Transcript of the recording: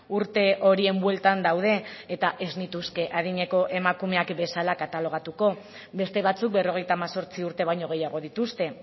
urte horien bueltan daude eta ez nituzke adineko emakumeak bezala katalogatuko beste batzuk berrogeita hemezortzi urte baino gehiago dituzte